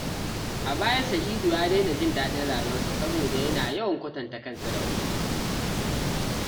A baya, Sa’idu ya daina jin daɗin rayuwarsa saboda yana yawan kwatanta kansa da wasu.